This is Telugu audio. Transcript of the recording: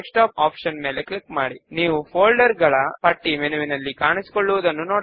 1 వ స్టెప్ లో ఫీల్డ్ సెలెక్షన్ కొరకు Table మెంబర్స్ ను ఎంచుకుందాము